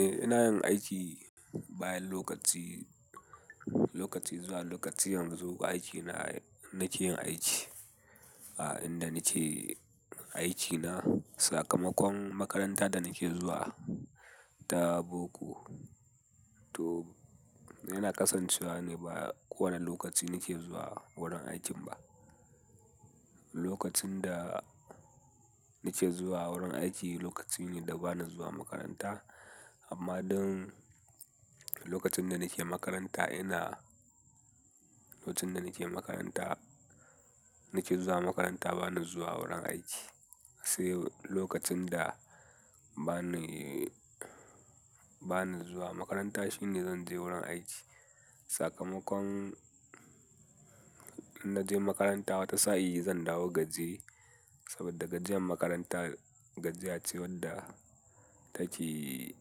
Eh ina yin aiki bayan lokaci, lokaci zuwa lokaci, yanzu aiki na nake yin aiki a inda na ke aiki na. Sakamakon makaranta da nake zuwa ta boko. To yana kasancewa ni ba kowane lokaci nake zuwa wurin aikin ba. Lokacin da nake zuwa wurin aiki lokaci ne da ba na zuwa makaranta amma don lokacin da nake makaranta ina-- lokacin da nake makaranta, nake zuwa makaranta ba na zuwa wurin aiki. Sai lokacin da ba ni ba ni zuwa makaranta shine zan je wurin aiki. Sakamakon in naje makaranta wata sa'i zan dawo gajiye saboda gajiyan makaranta, gajiya ce wanfa take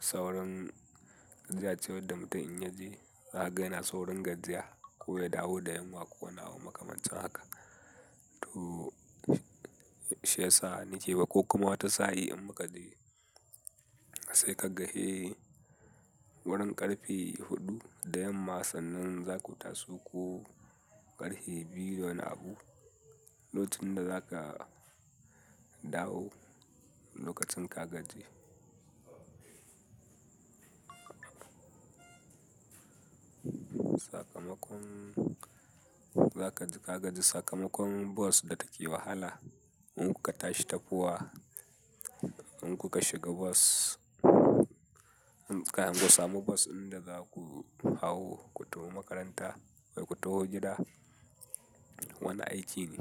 saurin, gajiya ce wadda mutum ya je. Za a ga yana saurin gajiya ko ya dawo da yamma ko wani abu makamancin haka. To shiyasa nake wa ko kuma wata sa'i in muka je. Sai ka ga he wurin ƙarfe huɗu da yamma sannan za ku taso ko ƙarfe biyu wani abu, lokacin da za ka dawo lokacin ka gaji. Sakamakon za kaji gaji, sakamakon bus da ta ke wahala in kuka tashi tafowa, in kuka shiga bus, in kan ku samu bas din da za ku hawo ku taho makaranta ko ku taho gida. Wani aiki ne.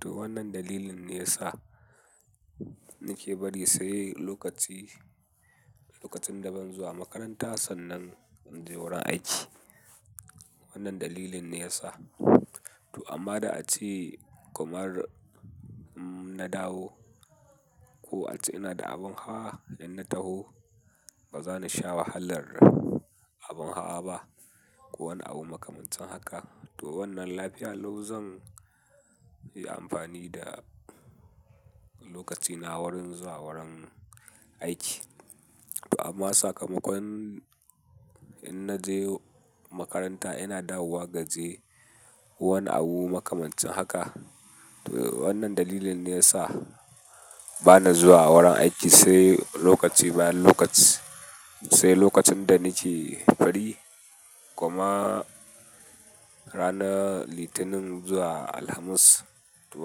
To wannan dalilin ne ya sa nake bari sai lokaci, lokacin da ban zuwa makaranta sannan in je wurin aiki. Wannan dalilin ne ya sa. To amma da a ce kamar inna dawo ko a ce ina da abin hawa in na taho ba za ni sha wahalar abin hawa ba ko wani abu makamancin haka. To wannan lafiya lau zan yi amfani da lokaci na wurin zuwa wurin aiki. Amma sakamakon in naje makaranta ina dawowa gajiye ko wani abu makamancin haka. To wannan dalilin ne ya sa ba na zuwa wurin aiki sai lokaci bayan lokaci. Sai lokacin da nike fari kuma ranar Litinin zuwa Alhamis. To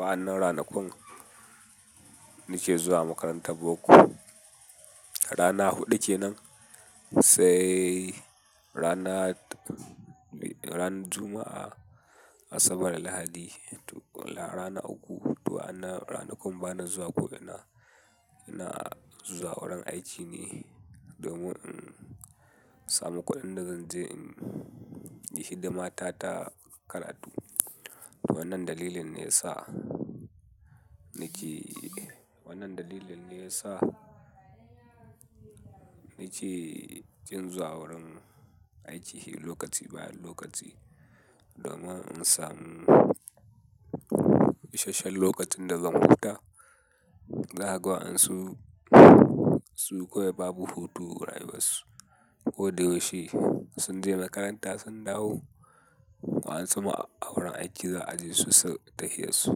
wa'annan ranakun muke zuwa makarantan boko. Rana huɗu kenan sai rana, ran Juma'a, Asabar Lahadi. To rana uku, to wa'annan ranakun bana zuwa ko ina, ina zuwa wurin aiki ne domin in samu kuɗin da zan je in yi hidima ta ta karatu. Wannan dalilin ne ya sa nake, wannan dalilin ne ya sa nake kin zuwa wurin aiki lokaci bayan lokaci domin in samu isashen lokacin da zan huta. Za la ga wa'yansu su kawai babu hutu rayuwar su ko da yaushe sun je makaranta sun dawo. Wa'yensu ma a wurin aiki za a ji su suyi tahiyar su.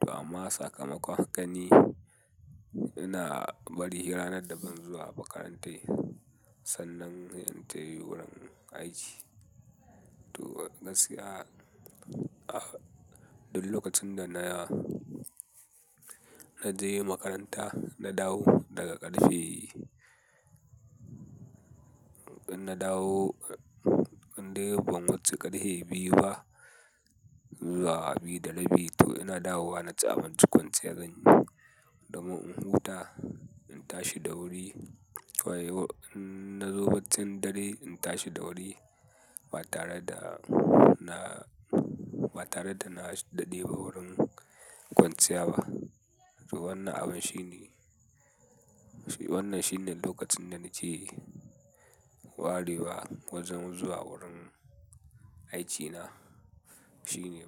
To amma sakamakon haka ne ina bari ranar da ban zuwa makarantai sannan in tahi wurin aiki. To gaskiya duk lokacin da na, na je makaranta na dawo daga ƙarfe, idan na dawo idan ban wuce ƙarfe biyu ba zuwa biyu da rabi to ina dawowa na ci abinci kwanciyar zan yi fomin in huta in tashi da wuri. To yau in na zobaccin dare in tashi da wuri ba tare da na, ba tare da na daɗe a wurin kwanciya ba. To wannan abun shi ne, wannan shi ne lokacin da ni ce warewa wajen zuwa wurin aikina shine.